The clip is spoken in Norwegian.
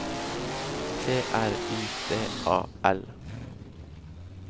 T R Y D A L